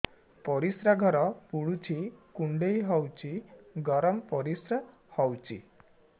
ପରିସ୍ରା ଘର ପୁଡୁଚି କୁଣ୍ଡେଇ ହଉଚି ଗରମ ପରିସ୍ରା ହଉଚି